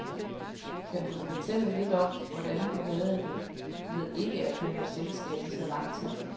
Kan du fortælle lidt om, hvordan du havde det med ikke at have selskab i så lang tid?